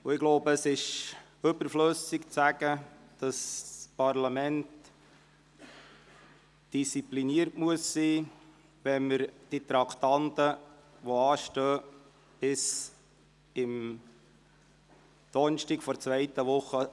Ich glaube, es ist überflüssig zu sagen, dass das Parlament diszipliniert sein muss, wenn wir die anstehenden Traktanden bis Donnerstag der zweiten Sessionswoche behandelt haben wollen.